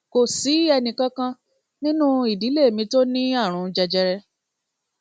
kò sí ẹnìkan kan nínú ìdílé mi tó ní tó ní àrùn jẹjẹrẹ